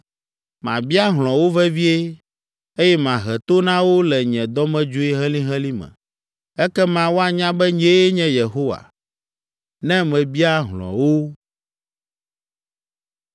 Mabia hlɔ̃ wo vevie, eye mahe to na wo le nye dɔmedzoe helĩhelĩ me. Ekema woanya be nyee nye Yehowa, ne mebia hlɔ̃ wo.’ ”